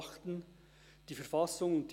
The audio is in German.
Damit ist die Vereidigung beendet.